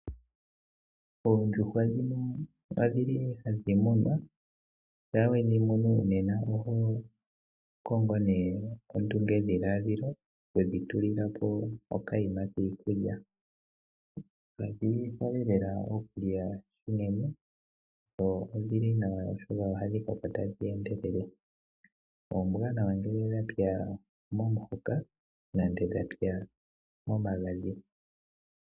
Oondjuhwa ohadhi munwa. Shampa wedhi munu nena oho kongo ondungedhiladhilo okudhitulila ponokanima kiikulya. Kadhi hole nana okulya unene dho ihadhi koko tadhi endelele. Ombwaanawa ngele dhapya momahoka nenge momagadhi.